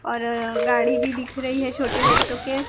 और गाड़ी भी दिख रही है छोटे बच्चों के--